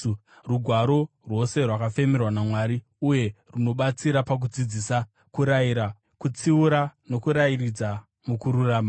Rugwaro rwose rwakafemerwa naMwari uye runobatsira pakudzidzisa, kurayira, kutsiura nokurayiridza mukururama,